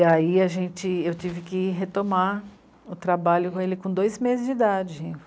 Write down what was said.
E aí a gente... eu tive que retomar o trabalho com ele com dois meses de idade.